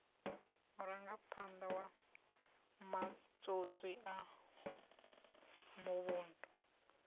murangaphanḓa wa matswotswi a muvhundu